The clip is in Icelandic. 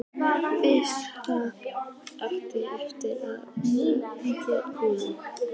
Vissi að það átti eftir að mæða mikið á honum.